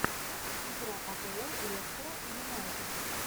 игра апл лестера и юнайтед